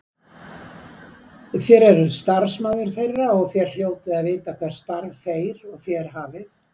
Þér eruð starfsmaður þeirra og þér hljótið að vita hvert starf þeir og þér hafið.